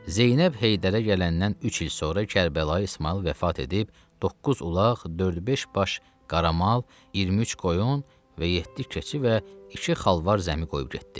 Zeynəb Heydərə gələndən üç il sonra Kərbəlayı İsmayıl vəfat edib, doqquz ulaq, dörd-beş baş qaramal, 23 qoyun və yeddi keçi və iki xalvar zəmi qoyub getdi.